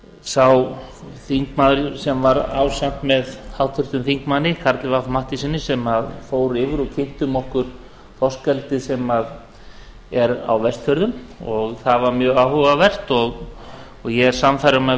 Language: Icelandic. sá þingmaður sem var ásamt með háttvirtum þingmanni karli fimmta matthíassyni sem fór yfir og kynntum okkur þorskeldi sem er á vestfjörðum það var mjög áhugavert og ég er sannfærður um að við